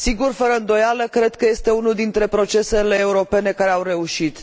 Fără îndoială, cred că este unul dintre procesele europene care au reușit.